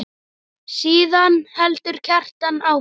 Síðan heldur Kjartan áfram